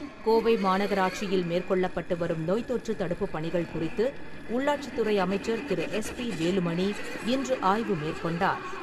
கோவை மாநகராட்சியில் மேற்கொள்ளப்பட்டு வரும் நோய் தொற்று தடுப்புப் பணிகள் குறித்து உள்ளாட்சித்துறை அமைச்சர் திரு. எஸ். பி. வேலுமணி இன்று ஆய்வு மேற்கொண்டார்.